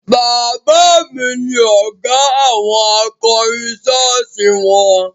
Bàbá mi ni ọ̀gá àwọn akọrin ṣọ́ọ̀ṣì won